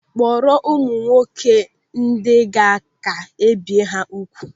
Kpọrọ ụmụ nwoke ndị gaa ka ebie ha ùgwù.